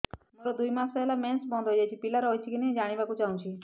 ମୋର ଦୁଇ ମାସ ହେଲା ମେନ୍ସ ବନ୍ଦ ହେଇ ଯାଇଛି ପିଲା ରହିଛି କି ନାହିଁ ଜାଣିବା କୁ ଚାହୁଁଛି